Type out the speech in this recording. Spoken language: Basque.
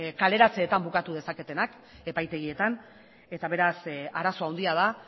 kaleratzeetan bukatu dezaketenak epaitegietan eta beraz arazo handia da